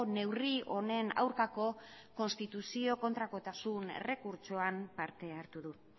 neurri honen aurkako konstituzio kontrakotasun errekurtsoan parte hartu du